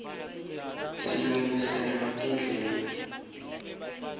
silungiselwa tindlela